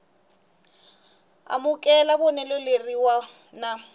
amukela vonelo rin wana na